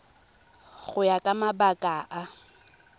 go ya ka mabaka a